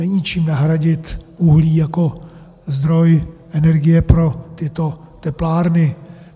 Není čím nahradit uhlí jako zdroj energie pro tyto teplárny.